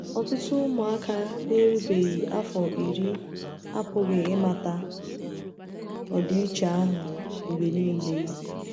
Ọtụtụ ụmụaka na-erubeghị afọ iri apụghị ịmata ọdịiche ahụ mgbe nile.